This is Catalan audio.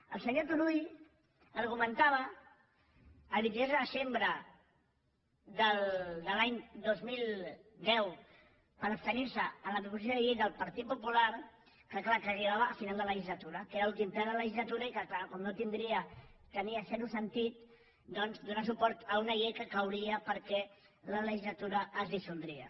el senyor turull argumentava el vint dos de setembre de l’any dos mil deu per abstenir se en la proposició de llei del partit popular que és clar arribava al final de la legislatura que era l’últim ple de la legislatura i que és clar tenia zero sentit donar suport a una llei que cauria perquè la legislatura es dissoldria